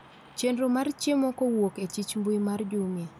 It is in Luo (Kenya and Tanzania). chenro mar chiemo kowuok echich mbui mar jumia